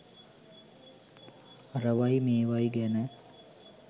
අරවයි මේවයි ගැන